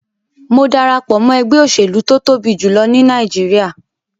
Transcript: Mo darapo mọ ẹgbẹ oselu to tobi julọ ni Nàìjíríà